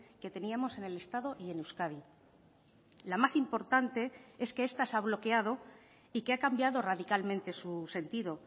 que teníamos en el estado y en euskadi la más importante es que esta se ha bloqueado y que ha cambiado radicalmente su sentido